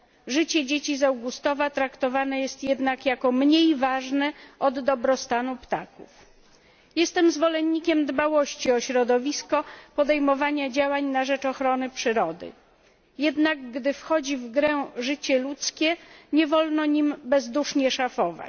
Życie dzieci z Augustowa traktowane jest jednak jako mniej ważne od dobrostanu ptaków. Jestem zwolennikiem dbałości o środowisko, podejmowania działań na rzecz ochrony przyrody, jednak gdy wchodzi w grę życie ludzkie, nie wolno nim bezdusznie szafować.